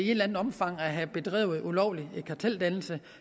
eller andet omfang at have bedrevet ulovlig karteldannelse